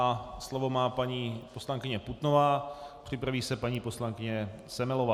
A slovo má paní poslankyně Putnová, připraví se paní poslankyně Semelová.